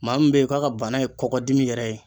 Maa min be ye k'a ka bana ye kɔkɔdimi yɛrɛ ye